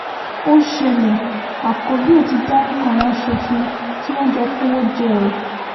ó ṣẹlẹ̀ àkọ́bío ti dárúkọ àwọn aṣòfin tí wọ́n jọ kówó jẹ́ o